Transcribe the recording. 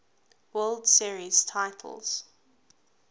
world series titles